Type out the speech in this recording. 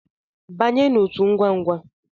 Banye n'otu ngwangwa!